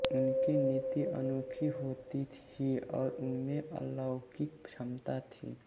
उनकी नीति अनोखी होती थी और उनमें अलौकिक क्षमता थी